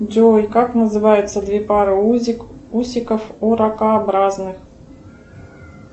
джой как называются две пары усиков у ракообразных